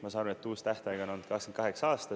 Ma saan aru, et uus tähtaeg on 2028. aasta.